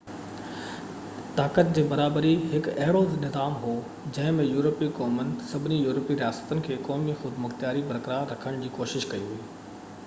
طاقت جي برابري هڪ اهڙو نظام هو جنهن ۾ يورپي قومن سڀني يورپي رياستن کي قومي خودمختياري برقرار رکڻ جي ڪوشش ڪئي هئي